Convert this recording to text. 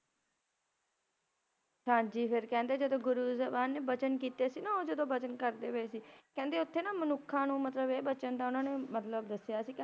ਹਾਂਜੀ ਫੇਰ ਕਹਿੰਦੇ ਜਦੋਂ ਗੁਰੂ ਸਾਹਿਬਾਨ ਨੇ ਬਚਨ ਕੀਤੇ ਸੀ ਨਾ ੳ ਜਦੋਂ ਬਚਨ ਕਰਦੇ ਪਏ ਸੀ ਕਹਿੰਦੇ ਓਥੇ ਨਾ ਮਨੁੱਖਾਂ ਨੂੰ ਮਤਲਬ ਇਹ ਬਚਨ ਦਾ ਓਹਨਾ ਨੇ ਮਤਲਬ ਦਸਿਆ ਸੀ ਕਹਿੰਦੇ